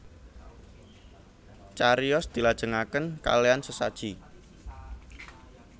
Cariyos dilajengaken kalean sesaji